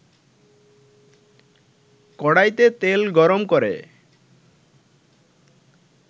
কড়াইতে তেল গরম করে